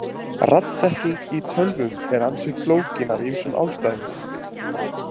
Raddþekking í tölvum er ansi flókin af ýmsum ástæðum.